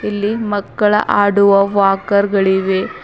ಇಲ್ಲಿ ಮಕ್ಕಳ ಆಡುವ ವಾಕರ್ ಗಳಿವೆ.